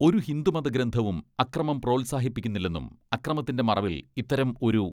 ഒരു ഹിന്ദുമത ഗ്രന്ഥവും അക്രമം പ്രോത്സാഹിപ്പിക്കുന്നില്ലെന്നും അക്രമത്തിന്റെ മറവിൽ ഇത്തരം ഒരു